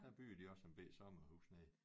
Der byggede de også en bette sommerhus nede